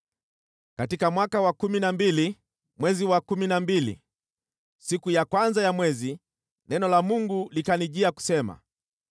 Katika mwaka wa kumi na mbili, mwezi wa kumi na mbili, siku ya kwanza ya mwezi, neno la Bwana likanijia, kusema: